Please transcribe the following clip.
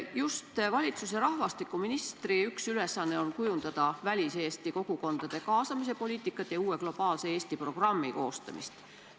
Just valitsuse rahvastikuministri üks ülesanne on kujundada väliseesti kogukondade kaasamise poliitikat ja uue globaalse Eesti programmi koostamist.